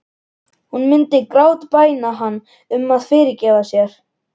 Hún myndi grátbæna hann um að fyrirgefa sér.